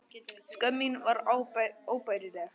Skömm mín var óbærileg.